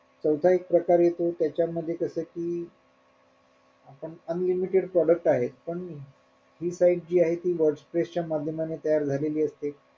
चौथा एक प्रकार येतो त्याच्या मध्ये जस कि आपण unlimited product आहेत पण हि site जी आहे तीमाध्यमानी तयार झालेली असते.